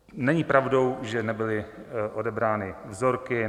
Není pravdou, že nebyly odebrány vzorky.